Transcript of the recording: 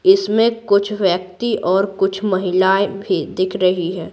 इसमें कुछ व्यक्ति और कुछ महिलाएं भी दिख रही है।